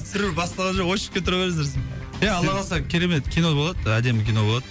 түсірілу басталған жоқ очередке тұра беріңіздер ия алла қаласа керемет кино болады әдемі кино болады